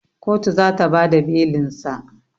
Kotu zata bada belinsa